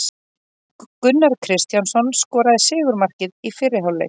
Gunnar Kristjánsson skoraði sigurmarkið í fyrri hálfleik.